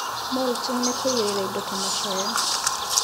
Mulching nĩ kũigĩrĩra indo ta macoya